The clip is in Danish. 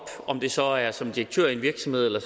om det så er som direktør i en virksomhed eller